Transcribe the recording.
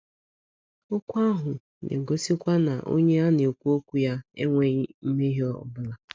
Okwu ahụ na na - egosikwa na onye a na - ekwu okwu ya “ enweghị mmehie ọ bụla. ”